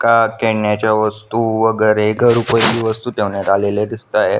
का केन्याच्या वस्तु वैगेरे घर उपयोगी वस्तु ठेवण्यात आलेल्या दिसतेए.